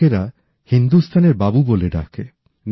ওঁকে মালির লোকের হিন্দুস্তানের বাবু বলে ডাকে